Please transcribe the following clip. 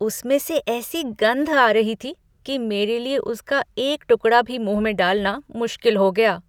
उसमें से ऐसी गंध आ रही थी कि मेरे लिए उसका एक टुकड़ा भी मुंह में डालना मुश्किल हो गया।